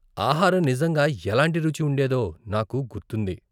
ఆహారం నిజంగా ఎలాంటి రుచి ఉండేదో నాకు గుర్తుంది.